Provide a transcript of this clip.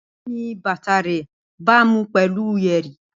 Bẹẹni, bata rẹ baamu pẹlu yeri.